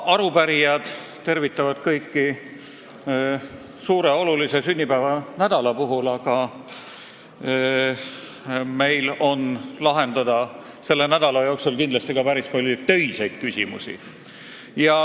Ka arupärijad tervitavad kõiki suure ja olulise sünnipäeva nädala puhul, aga meil on selle nädala jooksul kindlasti lahendada ka päris palju töiseid küsimusi.